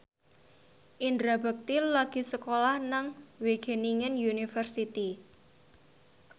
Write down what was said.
Indra Bekti lagi sekolah nang Wageningen University